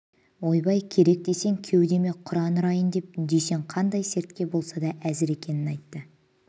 ойбай керек десең кеудеме құран ұрайын деп дүйсен қандай сертке болса да әзір екенін айтты